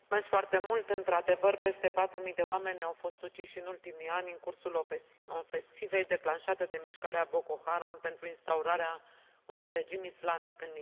Într adevăr, peste 4 mii de oameni au fost uciși în ultimii ani, în cursul ofensivei declanșată de mișcarea Boko Haram pentru instaurarea unui regim islamic în Nigeria.